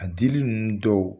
A dili ninnu dɔw